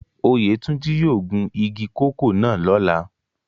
Oyetunji yóò gun igi koko náa lọla.